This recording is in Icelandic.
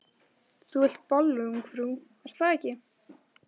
Þú vilt bollu, ungfrú, er það ekki?